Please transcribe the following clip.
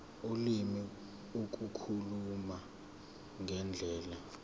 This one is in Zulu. ulimi ukukhuluma ngendlela